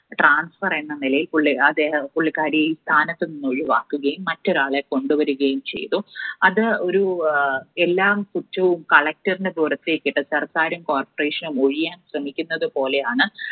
transfer എന്ന നിലയിൽ പുള്ളി, അദ്ദേ, പുള്ളിക്കാരിയെ സ്ഥാനത്തുനിന്ന് ഒഴിവാക്കുകയും മറ്റൊരാളെ കൊണ്ടുവരികയും ചെയ്തു. അത് ഒരു എല്ലാം കുറ്റവും Collector ടെ പുറത്തേക്കിട്ട് സർക്കാരും corporation നും ഒഴിയാൻ ശ്രമിക്കുന്നത് പോലെയാണ്.